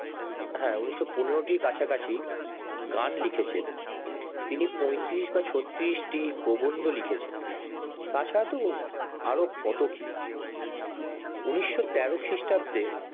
হ্যাঁ ঊনিশ শো পনেরোটির কাছাকাছি গান লিখেছে তিনি পঁয়ত্রিশ বা ছত্রিশটি প্রবন্ধ লিখেছে তাছাড়া তো আরো কত কি উনিশশো তেরো খিরষ্টাব্দে